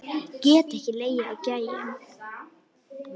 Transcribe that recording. Get ekki legið á gægjum.